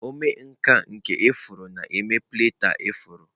Omenkà nke ifuru na-eme palette ifuru.